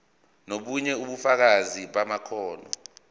nobunye ubufakazi bamakhono